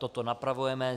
Toto napravujeme.